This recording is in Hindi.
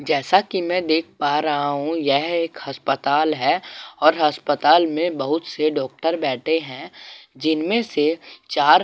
जैसा कि मैं देख पा रहा हूं यह एक अस्पताल है और अस्पताल में बहुत से डॉक्टर बैठे हैं जिनमें से चार --